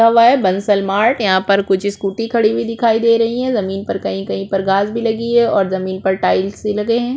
लिखा हुआ है बन्सल मार्ट यहाँ पर कुछ स्कूटी खड़ी हुई दिखाई दे रही है जमीन पर कही - कही पर घास भी लगी है और जमीन पर टाइल्स भी लगे हैं ।